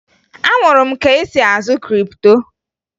Amụrụ m ka esi azụ kripto